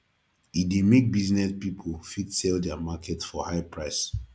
e de make business pipo fit sell their market for high price